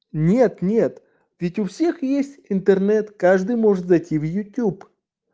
нет-нет ведь у всех есть интернет каждый может зайти в ютуб